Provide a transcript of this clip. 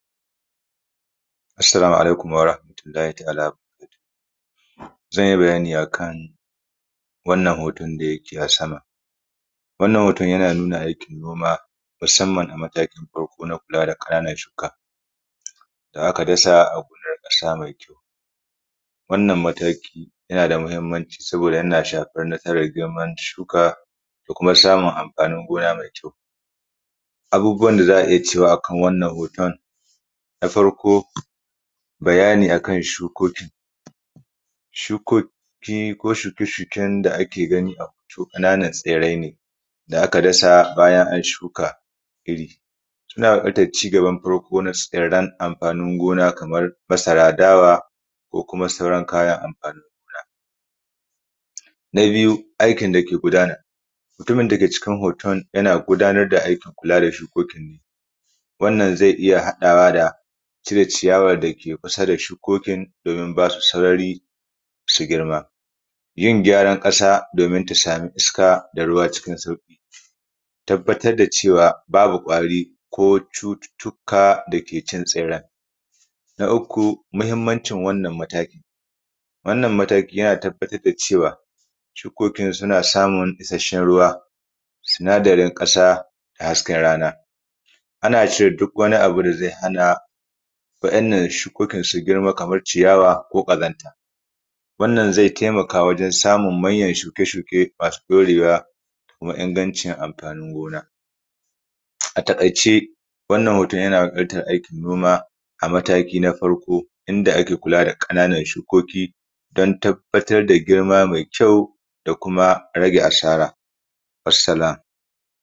Assalamu alaikum warahmatullahi wa baraka tuhu, zan yi bayani akan wannan hoton da yake a sama. Wannan hoton yana nuna aikin noma musamman a matakin farko na kula da ƙananan shuka da aka dasa a huɗar ƙasa mai kyau. Wannan mataki yana da mahimmanci sabida yana shafan nasaran girman shuka da kuma samun amfanin gona mai kyau. Abubuwan da za a iya cewa a kan wannan hoton, na farko bayani a kan shukoki. Shukoki ko shuke shuke da ake gani a hoto ƙananan tsirrai ne da aka dasa bayan an shuka iri. Yana gwada cigaban farko na tsirran amfanin gona kamar masara, dawa, ko kuma sauran kayan amfani gona. Na biyu aikin da ke gudana. Mutumin dake cikin hoton yana gudanar da aikin kula da shukokin ne, wannan zai iya haɗawa da cire ciyawan da ke kusa da shukokin domin ba su sarari su girma, yin gyaran ƙasa domin ta samu iska da ruwa cikin sauki da tabbatar da cewa babu ƙwari ko cututtuka dake can tsirran. Na uku mahimmancin wannan mataki. Wannan mataki yana tabbatar da cewa shukokin suna samun isasshen ruwa, sinadarin ƙasa da hasken rana. Ana cire duk wani abu da zai hana waɗannan shukoki su girma, kamar ciyawa ko ƙazanta. Wannan zai taimaka wajen samun manyan shuke shuke masu ɗaurewa da kuma ingancin amfanin gona. A taƙaice, wannan hoton yana taƙaita aikin noma a mataki na farko in da ake kula da ƙananan shukoki don tabbatar da girma mai kyau da kuma rage asara, wassalam.